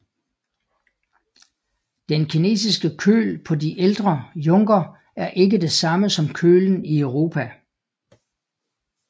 Den kinesiske køl på de ældre junker er ikke det samme som kølen i Europa